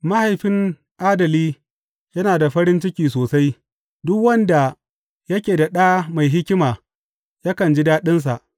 Mahaifin adali yana da farin ciki sosai; duk wanda yake da ɗa mai hikima yakan ji daɗinsa.